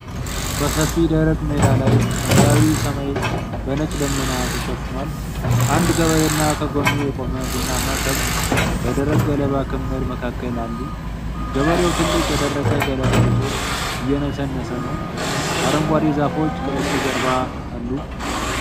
በሰፊ ደረቅ ሜዳ ላይ፣ ሰማያዊው ሰማይ በነጭ ደመና ተሸፍኗል። አንድ ገበሬ እና ከጎኑ የቆመ ቡናማ ከብት በደረቅ ገለባ ክምር መካከል አሉ። ገበሬው ትልቅ የደረቀ ገለባ ይዞ እየነሰነሰ ነው። አረንጓዴ ዛፎች ከበስተጀርባ አሉ።